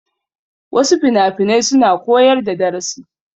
Wasu finafinai suna koyar da darasi.